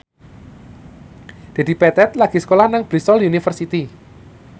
Dedi Petet lagi sekolah nang Bristol university